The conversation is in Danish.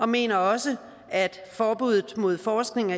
mener også at forbuddet mod forskning